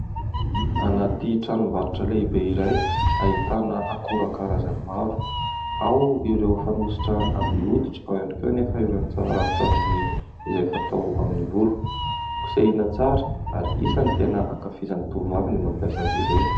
Anaty tranom-barotra lehibe iray ahitana akora karazany maro. Ao ireo fanosotra amin'ny hoditra, ao ihany koa anefa ireo rano-tsavony izay fatao amin'ny volo(kosehina tsara) ary isan'ny tena ankafizan'ny tovovavy ny mampiasa azy ireny.